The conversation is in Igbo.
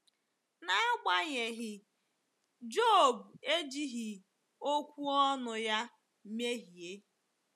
N’agbanyeghị,“ Job ejighị okwu ọnụ ya mehie.”